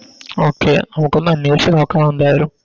Okay നമുക്കൊന്ന് അന്വേഷിച്ച് നോക്കണം എന്തായാലും